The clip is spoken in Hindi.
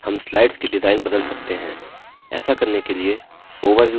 ऐसा करने के लिए overview नामक slide पर जाएँ